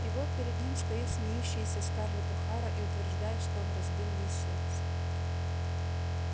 и вот перед ним стоит смеющаяся скарлетт охара и утверждает что он разбил ей сердце